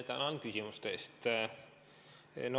Tänan küsimuste eest!